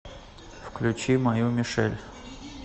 включи мою мишель